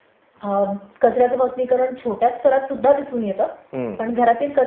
कचर् याच भस्मिकरण छोट्या स्तरात सुद्धा दिसून येतं पण घरातील कचर् याचे सर्वसामान्य ज्वलन हे मोठ्या प्रमाणावरील भस्मिकरण ...